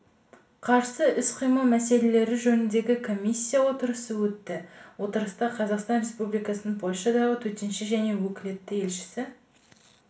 қарсы іс-қимыл мәселелері жөніндегі комиссия отырысы өтті отырыста қазақстан республикасының польшадағы төтенше және өкілетті елшісі